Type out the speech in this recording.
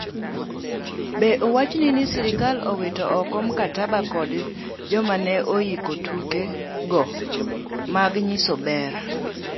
Be owachni ni sirkel owito ooko mkataba kod joma ne oiko tuke go mag nyiso ber.